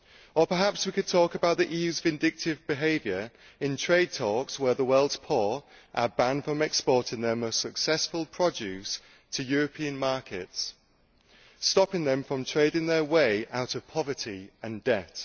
Or perhaps we could talk about the EU's vindictive behaviour in trade talks, where the world's poor are banned from exporting their most successful produce to European markets, stopping them from trading their way out of poverty and debt.